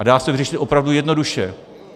A dá se to vyřešit opravdu jednoduše.